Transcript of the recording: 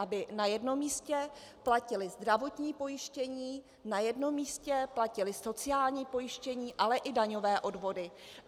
Aby na jednom místě platili zdravotní pojištění, na jednom místě platili sociální pojištění, ale i daňové odvody.